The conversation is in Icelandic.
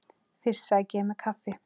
Fyrst sæki ég mér kaffi.